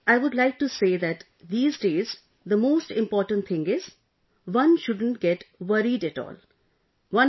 And Sir, I would like to say that these days, the most important thing is ... one shouldn't get worried at all